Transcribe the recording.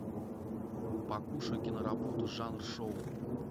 покушай киноработу жанр шоу